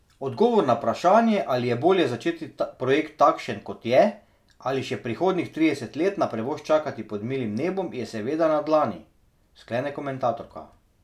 Odgovor na vprašanje, ali je bolje začeti projekt takšen, kot je, ali pa še prihodnjih trideset let na prevoz čakati pod milim nebom, je seveda na dlani, sklene komentatorka.